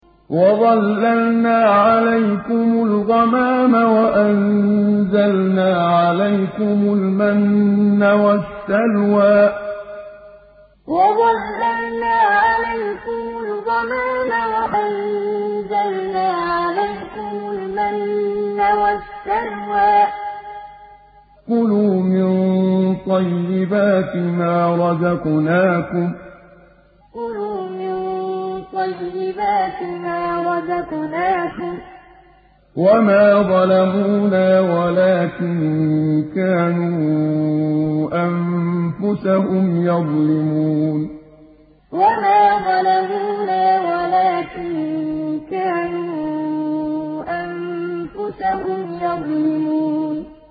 وَظَلَّلْنَا عَلَيْكُمُ الْغَمَامَ وَأَنزَلْنَا عَلَيْكُمُ الْمَنَّ وَالسَّلْوَىٰ ۖ كُلُوا مِن طَيِّبَاتِ مَا رَزَقْنَاكُمْ ۖ وَمَا ظَلَمُونَا وَلَٰكِن كَانُوا أَنفُسَهُمْ يَظْلِمُونَ وَظَلَّلْنَا عَلَيْكُمُ الْغَمَامَ وَأَنزَلْنَا عَلَيْكُمُ الْمَنَّ وَالسَّلْوَىٰ ۖ كُلُوا مِن طَيِّبَاتِ مَا رَزَقْنَاكُمْ ۖ وَمَا ظَلَمُونَا وَلَٰكِن كَانُوا أَنفُسَهُمْ يَظْلِمُونَ